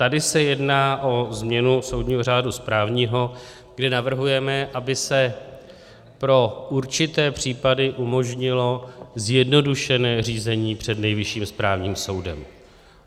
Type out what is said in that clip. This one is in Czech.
Tady se jedná o změnu soudního řádu správního, kde navrhujeme, aby se pro určité případy umožnilo zjednodušené řízení před Nejvyšším správním soudem.